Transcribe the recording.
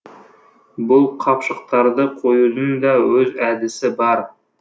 бұл қапшықтарды қоюдың да өз әдісі бар